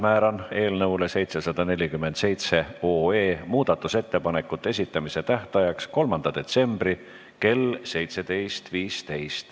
Määran eelnõu 747 muudatusettepanekute esitamise tähtajaks 3. detsembri kell 17.15.